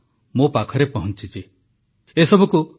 ଅନେକ ବିଷୟକୁ ଏକାଠି କରି ଆପଣମାନଙ୍କର ଏହି ମନର କଥା ମୋ ପାଖରେ ପହଂଚିଛି